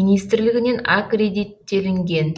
министрлігінен аккредиттелінген